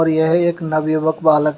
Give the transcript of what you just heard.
यह एक नवयुवक बालक है।